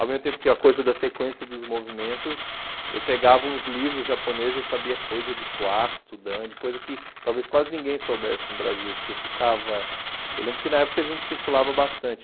Ao mesmo tempo que a coisa da sequência dos movimentos, eu pegava uns livros japoneses, eu sabia coisa de quarto, dan, de coisa que talvez quase ninguém soubesse no Brasil, porque eu ficava... Eu lembro que na época a gente circulava bastante.